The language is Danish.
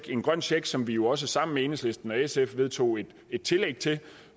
en grøn check som vi jo også sammen med enhedslisten og sf vedtog et tillæg til